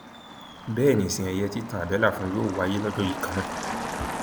bẹẹ ni ìsìn ẹyẹ títan àbẹlà fún un yóò wáyé lọjọ yìí kan náà